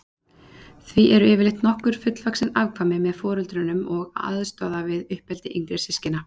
Því eru yfirleitt nokkur fullvaxin afkvæmi með foreldrunum og aðstoða við uppeldi yngri systkina.